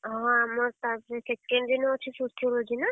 ହଁ ଆମର ତା second ଦିନ ଅଛି Sociology ନା?